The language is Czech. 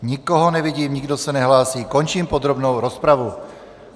Nikoho nevidím, nikdo se nehlásí, končím podrobnou rozpravu.